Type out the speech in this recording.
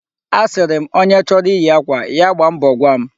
Asịrị m, onye chọrọ iyi akwa, ya gbaa mbọ gwa m.